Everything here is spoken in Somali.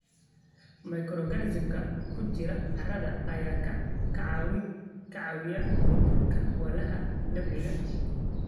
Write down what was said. Microorganisms-ka ku jira carrada ayaa ka caawiya burburka walxaha dabiiciga ah.